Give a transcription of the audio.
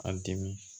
An dimin